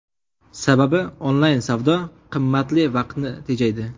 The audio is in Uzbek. Sababi, onlayn savdo qimmatli vaqtni tejaydi.